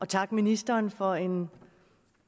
takke ministeren for en